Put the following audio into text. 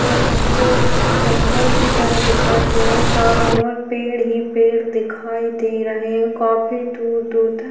यहाँ पे जंगल की तरह दिखाई दे रहा है। चारों ओर पेड़ ही पेड़ दिखाई दे रहे हैं। काफी दूर-दूर तक --